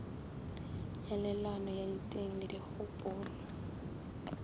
nyalelano ya diteng le dikgopolo